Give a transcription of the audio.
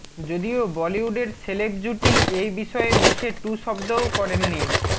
যদিও বলিউডের সেলেব জুটি এ বিষয়ে মুখে টু শব্দও করেননি